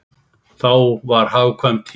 Þá var hagkvæm tíð.